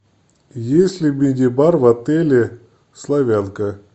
есть ли мини бар в отеле славянка